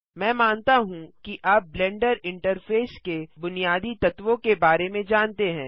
मैं मानता हूँ कि आप ब्लेंडर इंटरफेस के बुनियादी तत्वों के बारे में जानते हैं